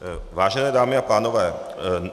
Vážené dámy a pánové.